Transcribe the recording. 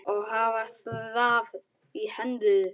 og hafa staf í hendi.